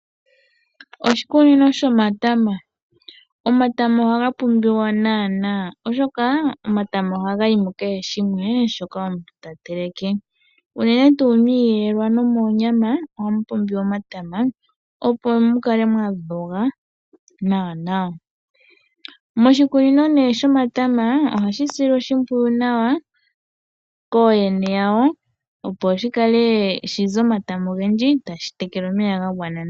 Oshi kunino shomatama, omatama oha ga pumbiwa nana oshoka omatama ohaga yi mu kehe shimwe shoka omuntu ta teleke unene tu miiyelelwa nomonyama, ohamu pumbiwa omatama opo mu kale mwadhoga nawa nawa. Moshikunino ne shomatama ohashi silwa oshipwiyu nawa koyene yawo opo shi ze omatama ogendji sho tashi tekelwa omeya ga gwana nawa.